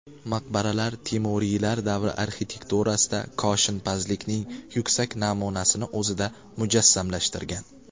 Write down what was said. Maqbaralar Temuriylar davri arxitekturasida koshinpazlikning yuksak namunasini o‘zida mujassamlashtirgan.